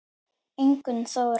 Ingunn Þóra.